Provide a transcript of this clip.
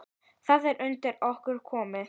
Það er undir okkur komið.